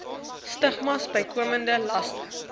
stigmas bykomende laste